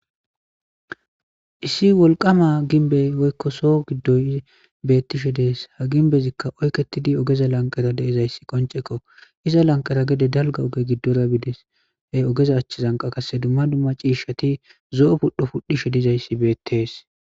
issi wolqama ginbey woykko so giddoy bettishe dees ha ginbezikka oykketidi ogeza lanqara deezayssi qonceko iza lanqara gede dalga oge giddora biides he ogeza achchizanqa kasse dumma dumma ciishshati zo7o pudho pudhishe dizayssi beettees